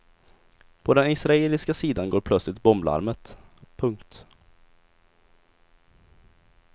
På den israeliska sidan går plötsligt bomblarmet. punkt